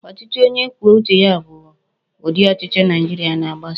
Ochichi onye kwuo uche ya bu udi Ochichi Naijiria na-agbaso